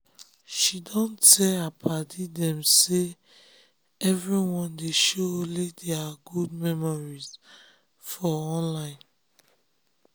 she don tell her padi dem say um everyone dey show only deir um good memories for um online